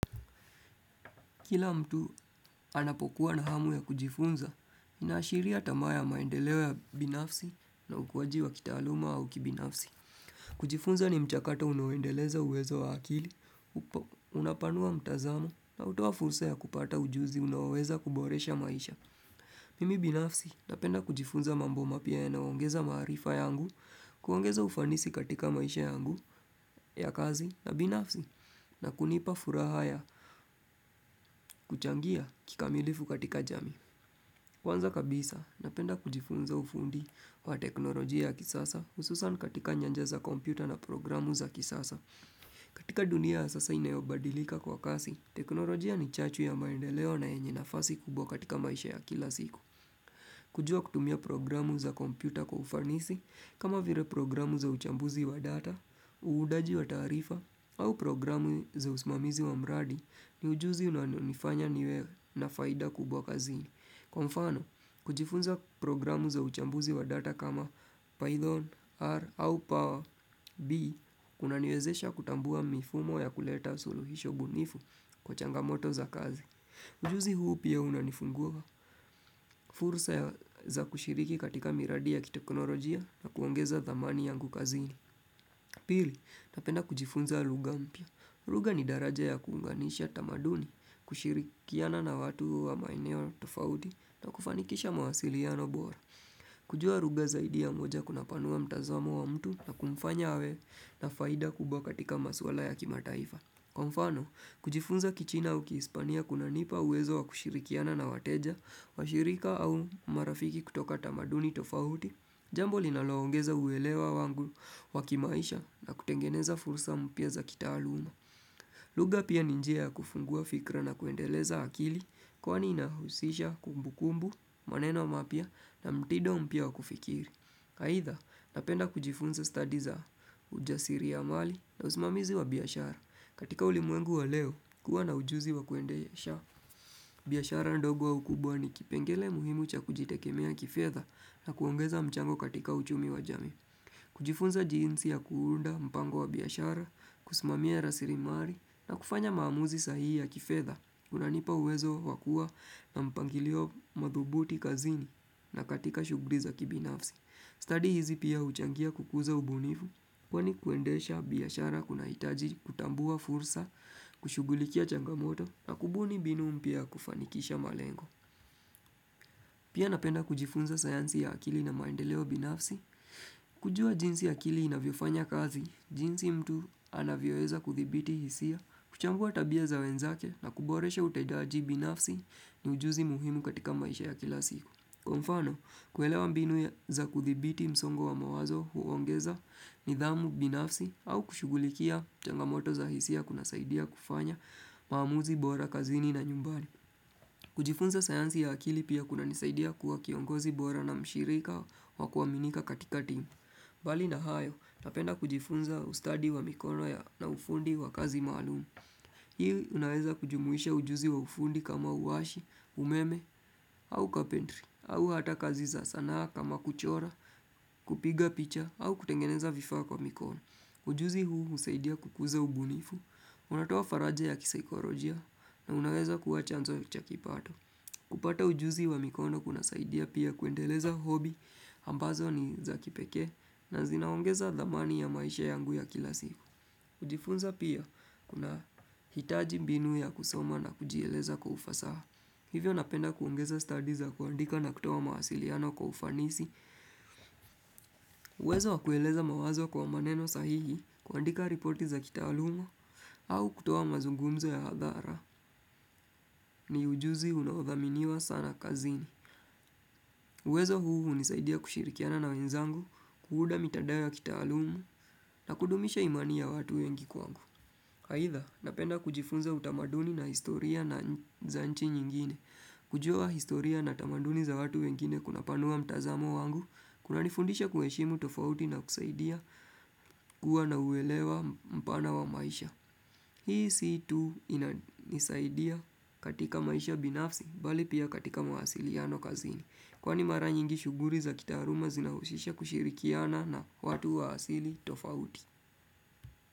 Kila mtu anapokuwa na hamu ya kujifunza, inaashiria tamaa ya maendeleo ya binafsi na ukuwaji wa kitaaluma au kibinafsi. Kujifunza ni mchakato unaouendeleza uwezo wa akili, unapanua mtazamo, na hutoa fursa ya kupata ujuzi unaoweza kuboresha maisha. Mimi binafsi napenda kujifunza mambo mapya yanayoongeza maarifa yangu, kuongeza ufanisi katika maisha yangu, ya kazi na binafsi, na kunipa furaha ya kuchangia kikamilifu katika jamii. Kwanza kabisa, napenda kujifunza ufundi wa teknolojia ya kisasa hususan katika nyanja za kompyuta na programu za kisasa. Katika dunia sasa inayobadilika kwa kasi, teknolojia ni chachu ya maendeleo na yenye nafasi kubwa katika maisha ya kila siku. Kujua kutumia programu za kompyuta kwa ufanisi, kama vire programu za uchambuzi wa data, Uudaji wa taarifa au programu za usimamizi wa mradi ni ujuzi unanifanya niwe na faida kubwa kazini. Kwa mfano, kujifunza programu za uchambuzi wa data kama Python, R au Power, B unaniwezesha kutambua mifumo ya kuleta suluhisho bunifu kwa changamoto za kazi. Ujuzi huu pia unanifungua fursa za kushiriki katika miradi ya kiteknolojia na kuongeza thamani yangu kazini. Piri, napenda kujifunza ruga mpya. Ruga ni daraja ya kuunganisha tamaduni, kushirikiana na watu wa maeneo tofauti na kufanikisha mawasilino bora. Kujua ruga zaidi ya moja kunapanua mtazamo wa mtu na kumfanya awe na faida kubwa katika maswala ya kimataifa. Kwa mfano, kujifunza kichina ukihispania kuna nipa uwezo wa kushirikiana na wateja, washirika au marafiki kutoka tamaduni tofauti, jambo linaloongeza uwelewa wangu wa kimaisha na kutengeneza fursa mpya za kitaaluma. Lugha pia ni njia ya kufungua fikra na kuendeleza akili kwani inahusisha kumbukumbu, maneno mapya na mtido mpya wa kufikiri. Aitha, napenda kujifunza stadi za ujasiri ya mali na usimamizi wa biashara. Katika ulimwengu wa leo, kuwa na ujuzi wa kuendesha. Biashara ndogo au kubwa ni kipengele muhimu cha kujitekemea kifedha na kuongeza mchango katika uchumi wa jamii. Kujifunza jinsi ya kuunda mpango wa biashara, kusimamia rasirimari na kufanya maamuzi sahihi ya kifedha. Unanipa uwezo wa kuwa na mpangilio madhubuti kazini na katika shugri za kibinafsi. Stadi hizi pia huchangia kukuza ubunifu, kwani kuendesha biashara kunaitaji, kutambua fursa, kushugulikia changamoto, na kubuni binu mpya ya kufanikisha malengo. Pia napenda kujifunza sayansi ya akili na maendeleo binafsi, kujua jinsi akili inavyofanya kazi, jinsi mtu anavyoeza kuthibiti hisia, kuchambua tabia za wenzake, na kuboresha utedaji binafsi ni ujuzi muhimu katika maisha ya kila siku. Kwa mfano, kuelewa mbinu za kuthibiti msongo wa mawazo huongeza nidhamu binafsi au kushugulikia changamoto za hisia kunasaidia kufanya maamuzi bora kazini na nyumbani. Kujifunza sayansi ya akili pia kunanisaidia kuwa kiongozi bora na mshirika wa kuwaminika katika timu. Bali na hayo, napenda kujifunza ustadi wa mikono ya na ufundi wa kazi maalum. Hii unaweza kujumuisha ujuzi wa ufundi kama uwashi, umeme au capentry au hata kazi za sanaa kama kuchora, kupiga picha au kutengeneza vifaa kwa mikono Ujuzi huu husaidia kukuza ubunifu, unatoa faraja ya kisaikorojia na unaweza kua chanzo cha kipato kupata ujuzi wa mikono kunasaidia pia kuendeleza hobi ambazo ni za kipekee na zinaongeza thamani ya maisha yangu ya kila siku kUjifunza pia kunahitaji mbinu ya kusoma na kujieleza kwa ufasaha. Hivyo napenda kuongeza stadi za kuandika na kutoa mahasiliano kwa ufanisi. Uwezo wa kueleza mawazo kwa maneno sahihi kuandika riporti za kitaalumu au kutoa mazungumzo ya hadhara ni ujuzi unaothaminiwa sana kazini. Uwezo huu hunisaidia kushirikiana na wenzangu, kuuda mitadao ya kitaalumu na kudumisha imani ya watu wengi kwangu. Aitha, napenda kujifunza utamaduni na historia na za nchi nyingine. Kujua historia na tamaduni za watu wengine kunapanua mtazamo wangu, kunanifundisha kueshimu tofauti na kusaidia kuwa na uewelewa mpana wa maisha. Hii si tu inanisaidia katika maisha binafsi, bali pia katika mawasiliano kazini. Kwani mara nyingi shuguri za kitaaruma zinahushisha kushirikiana na watu wa asili tofauti.